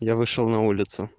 я вышел на улицу